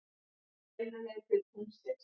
Beina leið til tunglsins.